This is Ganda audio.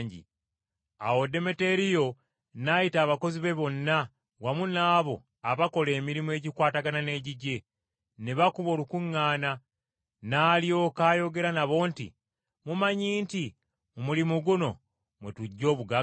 Awo Demeteriyo n’ayita abakozi be bonna wamu n’abo abakola emirimu egikwatagana n’egigye, ne bakuba olukuŋŋaana. N’alyoka ayogera nabo nti, “Mumanyi nti mu mulimu guno mwe tuggya obugagga.